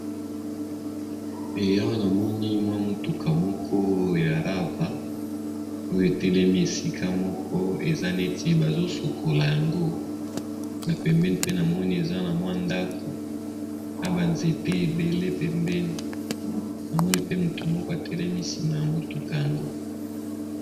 Awa namoni mwa mutuka moko ya Rava oyo etelemi esika mokoboye bazo sukula yango na pembeni pe namoni eza namwa ndako na banzete ebele pembeni